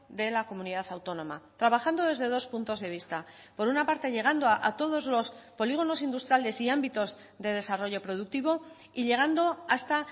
de la comunidad autónoma trabajando desde dos puntos de vista por una parte llegando a todos los polígonos industriales y ámbitos de desarrollo productivo y llegando hasta